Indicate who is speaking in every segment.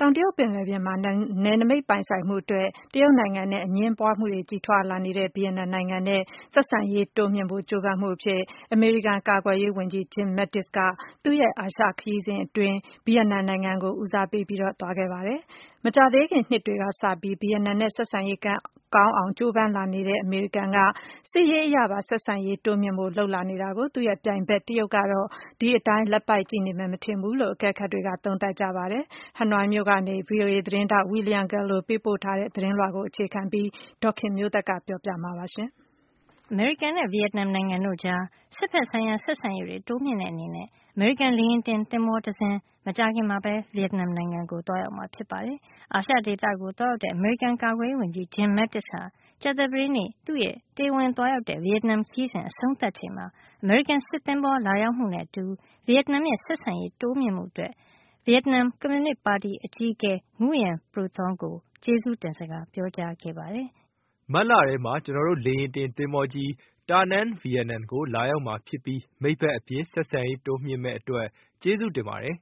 Speaker 1: တောင်တရုတ်ပင်လယ်ပြင်မှာ နယ်နမိတ်ပိုင်ဆိုင်မှုအတွက် တရုတ်နိုင်ငံနဲ့ အငြင်းပွားမှုတွေ ကြီးထွားလာနေတဲ့ ဗီယက်နမ်နိုင်ငံနဲ့ ဆက်ဆံရေးတွေ တိုးမြှင့်ဖို့ ကြိုးပမ်းတဲ့ အနေနဲ့ အမေရိကန် ကာကွယ်ရေးဝန်ကြီး Jim Mattis ဟာ သူ့ရဲ့ အာရှခရီးစဉ်အတွင်း ဗီယက်နမ်နိုင်ငံ ကို ဦးစားပေး သွားရောက်ခဲ့ပါတယ်။ မကြာသေးခင် နှစ်တွေကစပြီး ဗီယက်နမ်နဲ့ ဆက်ဆံရေး ကောင်းအောင် ကြိုးပမ်းလာနေတဲ့ အမေရိကန်က စစ်ရေးအရပါ ဆက်ဆံရေးတိုးမြှင့်ဖို့ လုပ်လာနေတာနဲ့ ပတ်သက်ပြီး သူ့ပြိုင်ဘက် တရုတ်ကတော့ ဒီအတိုင်း လက်ပိုက်ကြည့်နေမယ် မထင်ဘူးလို့ အကဲခတ်တွေက သုံးသပ်ပါတယ်။ Hanoiက VOA သတင်းထောက် William Gallo ရဲ့ သတင်းပေါ်အခြေခံပြီး ဒေါ်ခင်မျိုးသက
Speaker 2: ်က ပြောပြပေးမှာပါ။ အမေရိကန်နဲ့ ဗီယက်နမ်နိုင်ငံတို့ကြား စစ်ဘက်ဆိုင်ရာ ဆက်ဆံရေးတွေ တိုးမြှင့်တဲ့ အနေနဲ့ အမေရိကန် လေယာဉ်တင်သင်္ဘောတစင်း မကြာခင်မှာပဲ ဗီယက်နမ်နိုင်ငံကို သွားရောက်မှာဖြစ်ပါတယ်။ အာရှဒေသကို သွားရောက်တဲ့ အမေရိကန် ကာကွယ်ရေးဝန်ကြီး Jim Mattis ဟာ ကြာသပတေးနေ့ သူ့ရဲ့ တရားဝင် သွားရောက်တဲ့ ဗီယက်နမ်နိုင်ငံခရီးစဉ် အဆုံးသတ်ချိန်မှာ အမေရိကန် စစ်သဘောၤလာရောက်မှုနဲ့ အတူ ဗီယက်နမ်ရဲ့ ဆက်ဆံရေးတိုးမြှင့်မှု အတွက် ဗီယက်နမ် ကွန်မြူနစ်ပါတီအကြီးအကဲ Nguyen Phu Trong ကို ဝန်ကြီး Mattis က ကျေးဇူးတင်စကား ပြောခဲ့ပါတယ်
Speaker 3: “မတ်လထဲမှာ ကျွန်တော်တို့ရဲ့ လေယာဉ်တင် သဘောၤကြီး Danang ဗီယက်နမ်ကို လာရောက်မှာ ဖြစ်ပြီး မိတ်ဘက်အဖြစ် ဆက်ဆံရေးတိုးမြှင့်မယ့် အတွက် ကျေးဇူးတင်ပါတယ်”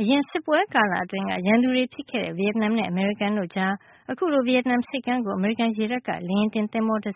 Speaker 2: အရင်စစ်ပွဲကာလ အတွင်းက ရန်သူတွေဖြစ်ခဲ့တဲ့ ဗီယက်နမ်နဲ့ အမေရိကန်တို့ကြား အခုလို ဗီယက်နမ်ဆိပ်ကမ်းကို အမေရိကန် ရေတပ်က လေယာဉ်တင်သဘောၤ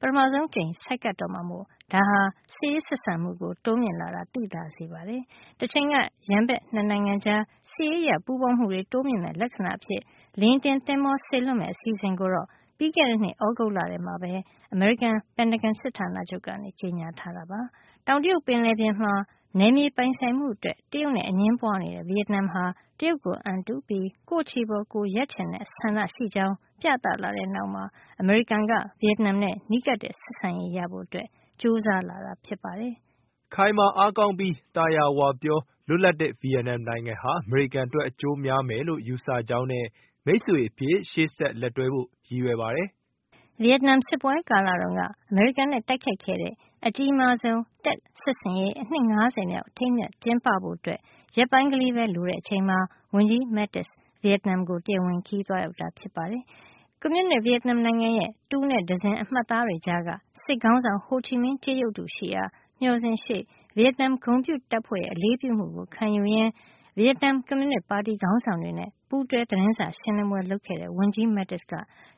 Speaker 2: ပထမဆုံး အကြိမ်အဖြစ် ဆိုက်ကပ်တော့မှာမို့ ဒါဟာ စစ်ရေးဆက်ဆံမှု တိုးမြင့်လာကို သိသာစေတာပါ။ တချိန်က ရန်ဘက် ၂ နိုင်ငံကြား စစ်ရေးအရ ပူးပေါင်းမှုတွေ တိုးမြှင့်မယ့် လက္ခဏာအဖြစ်နဲ့ လေယာဉ်တင်သင်္ဘော စေလွှတ်မယ့် အစီအစဉ်ကိုတော့ ပြီးခဲ့တဲ့နှစ် သြဂုတ်လထဲမှာပဲ အမေရိကန် ပင်တဂွန်စစ်ဌာနချုပ်က ကြေညာထားတာဖြစ်ပါတယ်။ တောင်တရုတ်ပင်လယ်ပြင်မှာ နယ်မြေပိုင်ဆိုင်မှုအတွက် တရုတ်နဲ့အငြင်းပွါးနေတဲ့ ဗီယက်နမ်ဟာ တရုတ်ကိုအံတုပြီး ကိုယ့်ခြေပေါ် ကိုယ်ရပ်ချင်တဲ့ ဆန္ဒရှိကြောင်းပြသလာတဲ့ နောက်မှာ အမေရိကန်က ဗီယက်နမ်နဲ့ နီးကပ်တဲ့ဆက်ဆံရေးရဖို့ ကြိုးစားလာတာပါ။ ဝန်ကြီး Mattis ကတ
Speaker 3: ော့ “ခိုင်မာအားကောင်းပြီး သာယာဝပြော၊ လွတ်လပ်တဲ့ ဗီယက်နမ်နိုင်ငံဟာ အမေရိကန်အတွက် အကျိုးများမယ်လို့ ယူဆကြောင်းနဲ့ မိတ်ဆွေအဖြစ် ရှေ့ဆက် လက်တွဲဖို့ ရည်ရွယ်ပါတယ်”
Speaker 2: လို့ ပြောဆိုခဲ့ပါတယ်။ ဗီယက်နမ် စစ်ပွဲကာလတုန်းက အမေရိကန်နဲ့ တိုက်ခိုက်ခဲ့တဲ့ အကြီးမားဆုံး Tet စစ်ဆင်ရေး နှစ် ၅၀ မြောက် အထိမ်းအမှတ် ကျင်းပဖို့ ရက်ပိုင်းကလေးပဲ လိုတဲ့ အချိန်မှာ ဝန်ကြီး Mattis ဗီယက်နမ်ကို တရားဝင်ခရီးသွားရောက်ခဲ့တာ ဖြစ်ပါတယ်။ ကွန်မြူနစ် ဗီယက်နမ်နိုင်ငံရဲ့ တူနဲ့တံဇင် အမှတ်အသားတွေကြားက စစ်ခေါင်းဆောင် ဟိုချီမင်း ကြေးရုပ်တုရှိရာ မျှော်စင်ရှေ့ ဗီယက်နမ် ဂုဏ်ပြုတပ်ဖွဲ့ရဲ့ အလေးပြုမှုကိုခံယူရင်း ဗီယက်နမ် ကွန်မြူနစ်ပါတီခေါင်းဆောင်တွေနဲ့ ပူးတွဲ သတင်းစာရှင်းလင်းပွဲ လုပ်ခဲ့တဲ့ ဝန်ကြီး Mattis က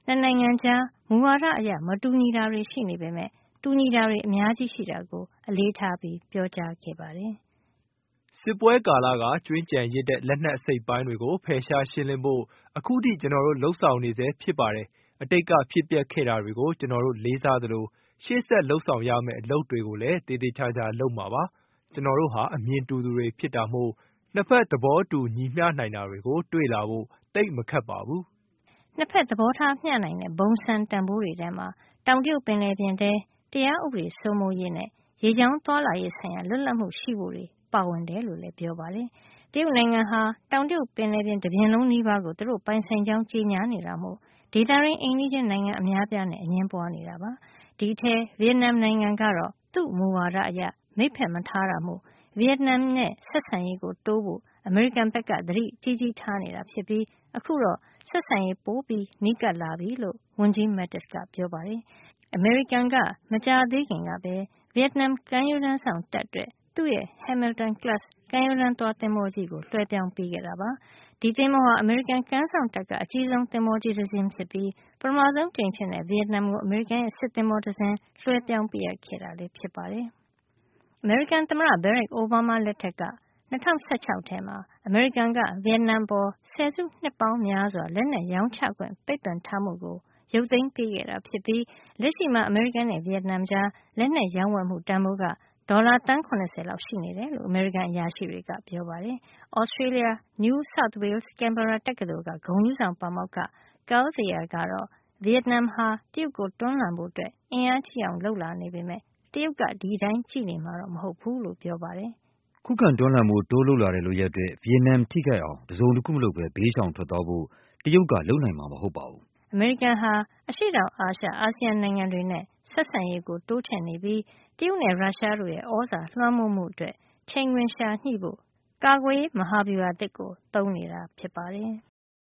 Speaker 2: ၂ နိုင်ငံကြား မူဝါဒအရ မတူညီတာတွေ ရှိနေပေမယ့် တူညီတာတွေ အများကြီး ရှိတာကို အလေးထား ပြောကြားခဲ့တာပါ။
Speaker 3: “စစ်ပွဲကာလက ကျွင်းကျန်ရစ်တဲ့ လက်နက်အစိတ်အပိုင်းတွေကို ဖယ်ရှားရှင်းလင်းဖို့ အခုထိ ကျွန်တော်တို့ လုပ်ဆောင်နေဆဲ ဖြစ်ပါတယ်။ အတိတ်ကဖြစ်ပျက်ခဲ့တာတွေကို ကျွန်တော်တို့ လေးစားသလို ရှေ့ဆက်လုပ်ဆောင်ရမယ့် အလုပ်တွေကိုလည်း သေသေချာချာ လုပ်မှာပါ။ ကျွန်တော်တို့ဟာ အမြင်တူသူတွေ ဖြစ်တာမို့ ၂ ဖက် သဘောတူညီမျှနိုင်တာတွေကို တွေ့လာဖို့ သိပ်မခက်ပါဘူး။
Speaker 2: ” ၂ ဖက် သဘောထားမျှနိုင်တဲ့ ဘုံစံတန်ဖိုးတွေထဲမှာ တောင်တရုတ်ပင်လယ်ပြင်ထဲ တရားဥပဒေစိုးမိုးရေး နဲ့ ရေကြောင်းသွားလာရေး လွတ်လပ်မှု ရှိဖို့တွေ ပါဝင်တယ်လို့လည်း ပြောပါတယ်။ တရုတ်နိုင်ငံက တောင်တရုတ်ပင်လယ်ပြင် တပြင်လုံးနီးပါးကို သူတို့ ပိုင်ဆိုင်ကြောင်း ကြေညာနေတာမို့ ဒေသတွင်း အိမ်နီးချင်းနိုင်ငံ အများအပြားနဲ့ အငြင်းပွါးနေတာဖြစ်ပါတယ်။ ဒီအထဲက ဗီယက်နမ် နိုင်ငံကတော့ သူ့မူဝါဒအရ မိတ်ဖက် မထားတာမို့ ဗီယက်နမ်နဲ့ ဆက်ဆံရေး တိုးဖို့ အမေရိကန်က သတိကြီးကြီးထားနေတာ ဖြစ်ပြီး အခုတော့ ဆက်ဆံရေးပိုမို နီးကပ်လာပြီလို့ ဝန်ကြီး Mattis ကပြောပါတယ်။ အမေရိကန်က မကြာသေးခင်ကပဲ ဗီယက်နမ်ကမ်းရိုးတန်းစောင့် တပ်အတွက် သူ့ရဲ့ Hamilton-class ကမ်းရိုးတန်းသွား သင်္ဘောကြီးကို လွှဲပြောင်းပေးခဲ့တာပါ။ ဒီသင်္ဘောဟာ အမေရိကန်ကမ်းစောင့်တပ်က အကြီးဆုံးသင်္ဘောကြီးတစင်းဖြစ်ပြီး ပထမဆုံး အကြိမ်အဖြစ် ဗီယက်နမ်ကို အမေရိကန်ရဲ့ စစ်သင်္ဘောတစင်း လွှဲပြောင်းပေးခဲ့တာလည်း ဖြစ်ပါတယ်။ အမေရိကန် သမ္မတ Barack Obama လက်ထက်က ၂၀၁၆ ထဲမှာ အမေရိကန်က ဗီယက်နမ်အပေါ် ဆယ်စုနှစ်ပေါင်းများစွာ လက်နက်ရောင်းချခွင့် ပိတ်ပင်ထားမှုကို ရုတ်သိမ်းပေါ်ခဲ့တာ ဖြစ်ပြီး လက်ရှိမှာ အမေရိကန်နဲ့ ဗီယက်နမ်ကြား လက်နက်ရောင်းဝယ်မှု တန်ဖိုးက ဒေါ်လာ သန်း ၇၀ လောက် ရှိနေတယ်လို့ အမေရိကန် အရာရှိတွေက ပြောပါတယ်။ Australia က New South Wales-Canberra တက္ကသိုလ် က ဂုဏ်ထူးဆောင် ပါမောက္ခ Carl Thayer ကတော့ ဗီယက်နမ်ဟာ တရုတ်ကို တွန်းလှန်ဖို့ အင်အားကြီးအောင် လုပ်လာနေပေမယ့် တရုတ်ကတော့ ဒီအတိုင်းကြည့်နေမှာ မဟုတ်ဖူးလို့ ပြောပါတယ်။
Speaker 3: “ခုခံတွန်းလှန်ဖို့ တိုးလုပ်လာတဲ့ လုပ်ရပ်အတွက် ဗီယက်နမ် ထိခိုက်အောင် တစုံတခုမလုပ်ပဲ ဘေးရှ
Speaker 2: ောင်ထွက်သွားဖို့ တရုတ်က လုပ်နိုင်မှာ မဟုတ်ပါဘူး” အမေရိကန်ကတော့ အရှေ့တောင်အာရှ အာဆီယံ နိုင်ငံတွေနဲ့ ဆက်ဆံရေးကို တိုးချဲ့နေပြီး တရုတ်နဲ့ ရုရှားတို့ရဲ့ သြဇာလွှမ်းမိုးမှုအတွက် ချိန်ခွင်လျှာညှိဖို့ ကာကွယ်ရေးမဟာဗျူဟာ အသစ်ကို သုံးနေတာဖြစ်ပါတယ်။